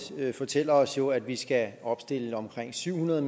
fortæller os jo at vi skal opstille omkring syv hundrede